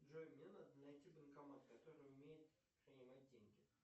джой мне надо найти банкомат который умеет принимать деньги